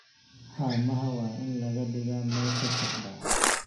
Haamaha waa in la dhigaa meesha saxda ah.